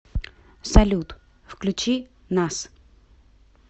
салют включи нас